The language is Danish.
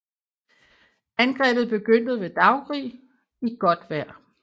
Angrebet begyndte ved daggry i godt vejr